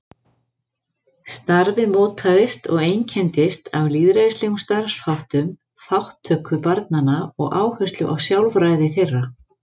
Starfið mótaðist og einkenndist af lýðræðislegum starfsháttum, þátttöku barnanna og áherslu á sjálfræði þeirra.